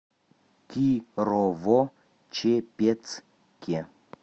кирово чепецке